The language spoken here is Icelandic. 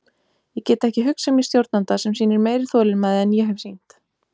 Ég get ekki hugsað mér stjórnanda sem sýnir meiri þolinmæði en ég hef sýnt.